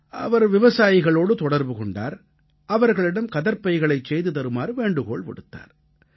அவர் விவசாயிகளோடு தொடர்பு கொண்டார் அவர்களிடம் கதர்ப் பைகளைச் செய்து தருமாறு வேண்டுகோள் விடுத்தார்